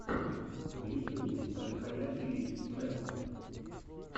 в ютьюбе альхайя ти ви нетворк